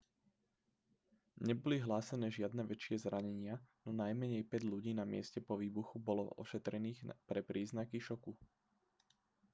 neboli hlásené žiadne väčšie zranenia no najmenej päť ľudí na mieste po výbuchu bolo ošetrených pre príznaky šoku